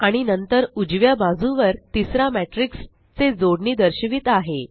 आणि नंतर उजव्या बाजुवर तिसरा मॅट्रिक्स जे जोडणी दर्शवित आहे